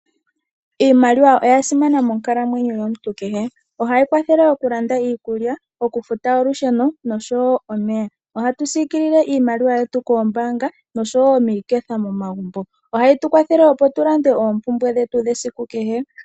Iimaliwa oya simana moonkalamwenyo yomuntu kehe. Ohayi kwathele oku landa iikulya, oku futa oosikola, oku futa olusheno noshowo omeya. Ohatu siikilile iimaliwa yetu koombanga noshowo miiketha momagumbo. Ohayi tu kwathele tu lande oompumbwe dhetu dhesiku kehe.